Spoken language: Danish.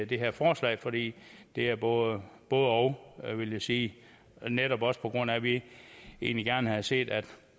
det her forslag fordi det er et både og og vil jeg sige det er netop også på grund af at vi egentlig gerne havde set at